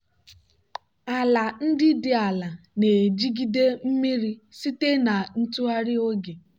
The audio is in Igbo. ala ndị dị ala na-ejigide mmiri site na ntụgharị oge.